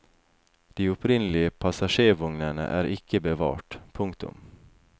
De opprinnelige passasjervognene er ikke bevart. punktum